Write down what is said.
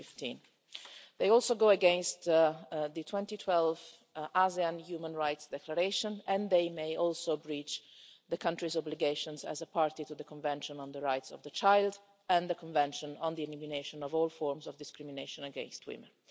2015. They also go against the 2012 ASEAN Human Rights Declaration and they may also breach the country's obligations as a party to the Convention on the Rights of the Child and the Convention on the Elimination of All Forms of Discrimination against Women.